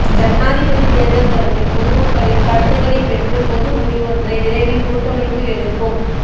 ஜனாதிபதித் தேர்தல் தொடர்பில் பொதுமக்களின் கருத்துக்களைப் பெற்று பொது முடிவொன்றை விரைவில் கூட்டமைப்பு எடுக்கும்